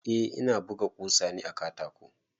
Eh ina buga ƙusa ne a katako.